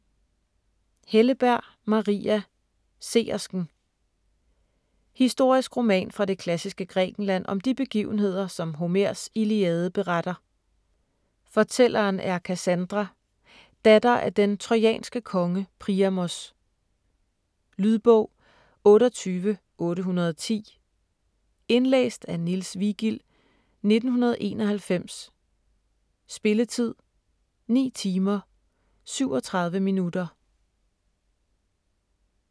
Helleberg, Maria: Seersken Historisk roman fra det klassiske Grækenland om de begivenheder, som Homers Iliade beretter. Fortælleren er Kassandra, datter af den trojanske konge Priamos. Lydbog 28810 Indlæst af Niels Vigild, 1991. Spilletid: 9 timer, 37 minutter.